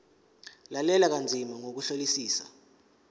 lalela kanzima ngokuhlolisisa